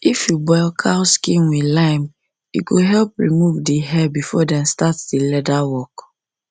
if you boil cow skin with lime e go help remove the hair before dem start the leather work